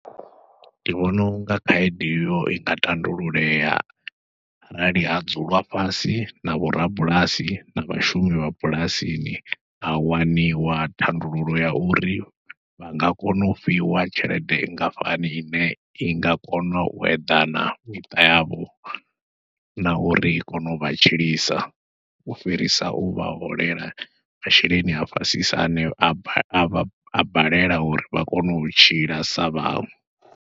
Ndi vhona unga khaedu iyo i nga tandululea arali ha dzulwa fhasi na vho rabulasi, na vhashumi vha bulasini, ha waniwa thandululo ya uri vha nga kona u fhiwa tshelede nngafhani ine i nga kona u eḓana miṱa yavho, na uri i kone u vha tshilisa u fhirisa u vha holela masheleni a fhasisa ane a ba a vha a balelwa uri vha kone u tshila sa vhaṅwe.